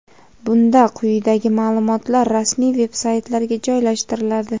bunda quyidagi maʼlumotlar rasmiy veb-saytlarga joylashtiriladi:.